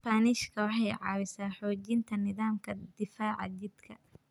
Isbaanishka waxay caawisaa xoojinta nidaamka difaaca jidhka.